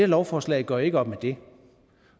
lovforslag gør ikke op med det